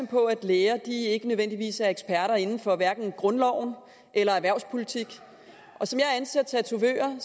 på at læger ikke nødvendigvis er eksperter inden for hverken grundloven eller erhvervspolitik som jeg anser tatovering